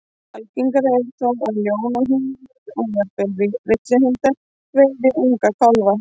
Algengara er þó að ljón og hýenur, og jafnvel villihundar, veiði unga kálfa.